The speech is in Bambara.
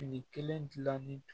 Fini kelen dilanni